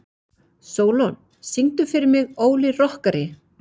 Sólon, syngdu fyrir mig „Óli rokkari“.